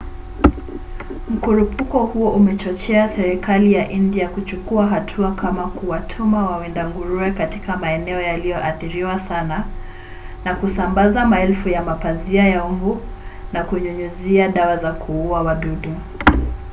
mkurupuko huo umechochea serikali ya india kuchukua hatua kama kuwatuma wawinda nguruwe katika maeneo yaliyoathiriwa sana na kusambaza maelfu ya mapazia ya mbu na kunyunyiza dawa za kuua wadudu